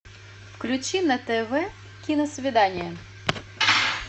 включи на тв киносвидание